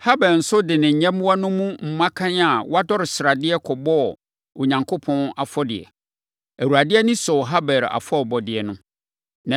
Habel nso de ne nyɛmmoa no mu mmakan a wɔadɔre sradeɛ kɔbɔɔ Onyankopɔn afɔdeɛ. Awurade ani sɔɔ Habel afɔrebɔdeɛ no.